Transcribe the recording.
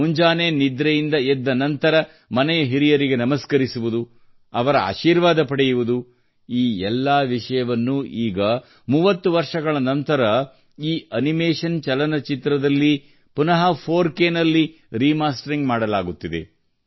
ಮುಂಜಾನೆ ನಿದ್ರೆಯಿಂದ ಎದ್ದ ನಂತರ ಮನೆಯ ಹಿರಿಯರಿಗೆ ನಮಸ್ಕರಿಸುವುದು ಅವರ ಆಶೀರ್ವಾದ ಪಡೆಯುವುದು ಈ ಎಲ್ಲಾ ವಿಷಯವನ್ನೂ ಈಗ 30 ವರ್ಷಗಳ ನಂತರ ಈ ಅನಿಮೇಷನ್ ಚಲನಚಿತ್ರದಲ್ಲಿ ಪುನಃ 4K ನಲ್ಲಿ ರಿಮಾಸ್ಟರ್ ಮಾಡಲಾಗುತ್ತಿದೆ